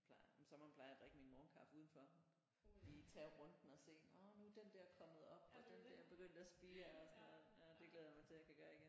Plejer om sommeren plejer jeg at drikke min morgenkaffe udenfor lige tage runden og se at nåh nu er den der kommet op og den der er begyndt at spire og sådan noget ja det glæder jeg mig til jeg kan gøre igen